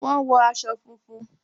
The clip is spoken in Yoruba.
Wọ́n wọ̀ àṣọ fúnfún.